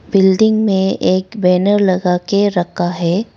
Building में एक banner लगा के रखा है।